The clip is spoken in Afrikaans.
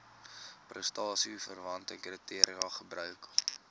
prestasieverwante kriteria gebruik